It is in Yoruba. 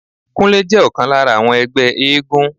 Kúnlé jẹ́ ọ̀kan lára àwọn ẹgbẹ́ éégún